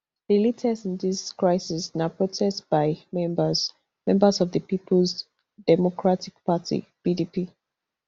di latest in dis crisis na protest by members members of di peoples democratic party pdp